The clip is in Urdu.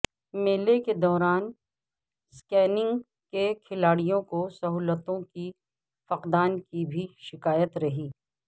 میلے کے دوران سکیئنگ کے کھلاڑیوں کو سہولتوں کے فقدان کی بھی شکایت رہی